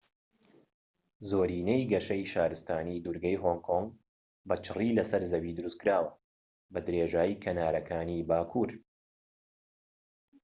زۆرینەی گەشەی شارستانی دوورگەی هۆنگ کۆنگ بە چڕی لەسەر زەوی دروستکراوە بە درێژایی کەنارەکانی باکوور